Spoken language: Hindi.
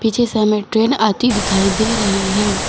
पीछे से हमें ट्रेन आती दिखाई दे रहे है।